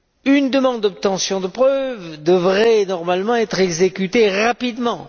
Une demande d'obtention de preuves devrait normalement être exécutée rapidement.